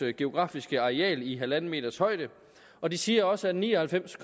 geografiske areal i halvanden meters højde og de siger også at ni og halvfems